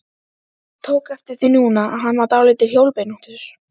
Passíusálmar Hallgríms Péturssonar séu afbragðs texti fyrir kantötu.